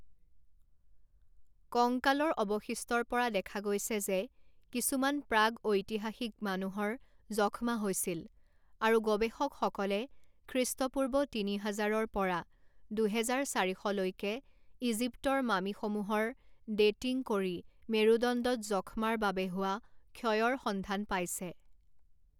কংকালৰ অৱশিষ্টৰ পৰা দেখা গৈছে যে কিছুমান প্ৰাগঐতিহাসিক মানুহৰ যক্ষ্মা হৈছিল, আৰু গৱেষকসকলে খ্ৰীষ্টপূৰ্ব তিনি হাজাৰৰ পৰা দুহেজাৰ চাৰি শ লৈকে ইজিপ্তৰ মামিসমূহৰ ডেটিং কৰি মেৰুদণ্ডত যক্ষ্মাৰ বাবে হোৱা ক্ষয়ৰ সন্ধান পাইছে।